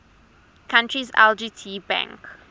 country's lgt bank